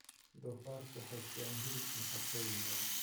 Doofaarku waxay siiyaan hilib nafaqooyin badan.